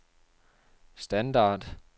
standard